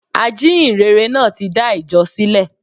Ajíhìnrere náà tí dá ìjọ sílè